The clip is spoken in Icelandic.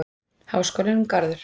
Háskólinn og Garður.